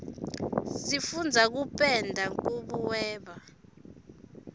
sifundza kupenda nkubuweba